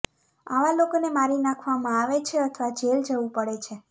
આવા લોકોને મારી નાખવા માં આવે છે અથવા જેલ જવુ પડે છે